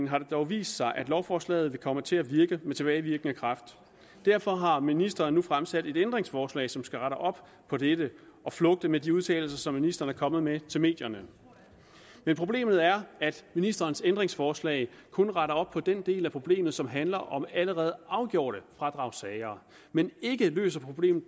har det dog vist sig at lovforslaget vil komme til at virke med tilbagevirkende kraft derfor har ministeren nu fremsat et ændringsforslag som skal rette op på dette og flugte med de udtalelser som ministeren er kommet med til medierne men problemet er at ministerens ændringsforslag kun retter op på den del af problemet som handler om allerede afgjorte fradragssager men ikke løser problemet